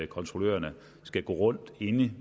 kontrollørerne skulle gå rundt inde i